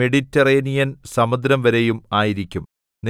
Mediterranean സമുദ്രംവരെയും ആയിരിക്കും